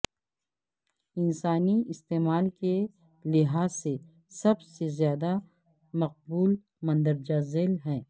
انسانی استعمال کے لحاظ سے سب سے زیادہ مقبول مندرجہ ذیل ہیں